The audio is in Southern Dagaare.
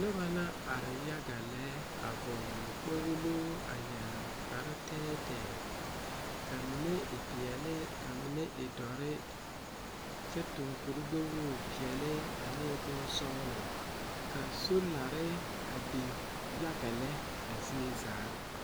Nobɔ na are yaga lɛ a vɔgle kpoglo a yɛre kpare tɛɛtɛɛ tɛɛtɛɛ la mine e peɛle ka mine e dɔre kyɛ tuŋ kurigbɛwogre peɛle ane bonsɔglɔ ka solare a biŋ yaga lɛ a zie zaa.